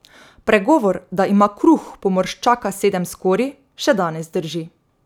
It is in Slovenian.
Pregovor, da ima kruh pomorščaka sedem skorij, še danes drži.